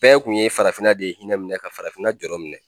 Bɛɛ kun ye farafinna de hinɛ minɛ ka farafinna jɔrɔ minɛ